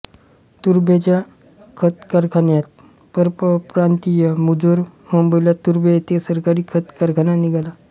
तुर्भ्याच्या खतकारखान्यात परप्रांतीय मुजोर मुंबईला तुर्भे येथे सरकारी खत कारखाना निघाला